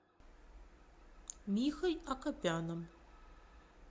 михой акопяном